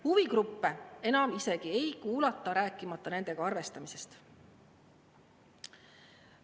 Huvigruppe enam isegi ei kuulata, rääkimata nendega arvestamisest.